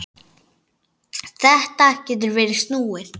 Þetta getur verið snúið.